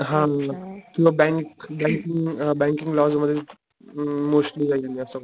हा किव्हा bank banking banking loss मध्ये अ मोस्टली जाईल मी असं वाटत.